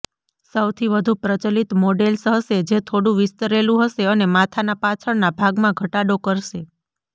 સૌથી વધુ પ્રચલિત મોડેલ્સ હશે જે થોડું વિસ્તરેલું હશે અને માથાના પાછળના ભાગમાં ઘટાડો કરશે